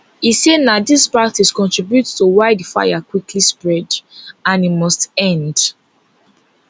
e say na dis practice contribute to why di fire quickly spread and e must end